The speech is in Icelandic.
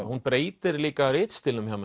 hún breytir líka ritstílnum hjá